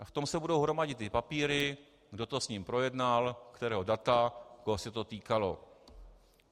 A v tom se budou hromadit ty papíry, kdo to s ním projednal, kterého data, koho se to týkalo.